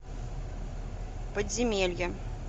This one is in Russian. подземелье